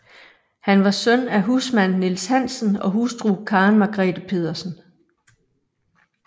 Han var søn af husmand Niels Hansen og hustru Karen Margrete Pedersen